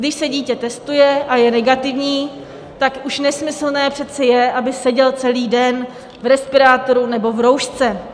Když se dítě testuje a je negativní, tak už nesmyslné přece je, aby sedělo celý den v respirátoru nebo v roušce.